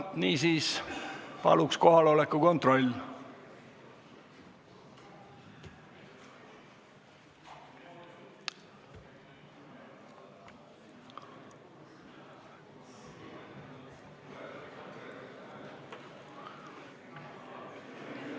Niisiis, palun teeme kohaloleku kontrolli!